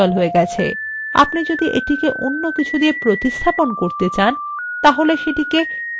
আপনি যদি এটিকে অন্য কিছু দিয়ে প্রতিস্থাপন করতে চান তাহলে সেটিকে replace with ক্ষেত্রে লিখুন